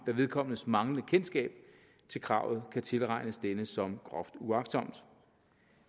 vedkommendes manglende kendskab til kravet kan tilregnes denne som groft uagtsomt